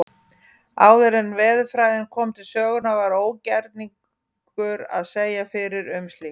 Áður en veðurfræðin kom til sögunnar var ógerningur að segja fyrir um slíkt.